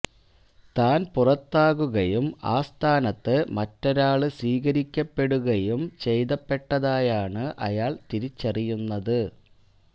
താന് പുറത്താകുകയും ആ സ്ഥാനത്ത് മറ്റൊരാള് സ്വീകരിക്കപ്പെടുകയും ചെയ്യപ്പെട്ടതായാണ് അയാള് തിരിച്ചറിയുന്നത്